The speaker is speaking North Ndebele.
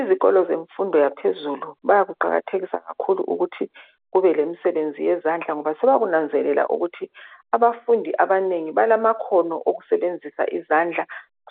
Izikolo zemfundo yaphezulu bakuqakathekisa kakhulu ukuthi bayenze imisebenzi yezandla ngoba sebananzelela ukuthi abafundi abanengi banamakhono ukusebenzisa izandla,